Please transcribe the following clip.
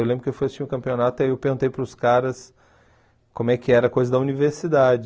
Eu lembro que eu fui assistir o campeonato e eu perguntei para os caras como é que era a coisa da universidade.